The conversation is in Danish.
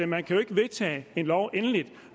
man kan jo ikke vedtage en lov endeligt